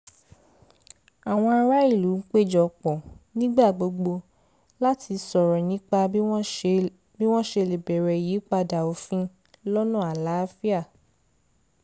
àwọn ará ìlú ń péjọ pọ̀ nígbà gbogbo láti sọ̀rọ̀ nípa bí wọ́n ṣe lè béèrè ìyípadà òfin lọ́nà àlàáfíà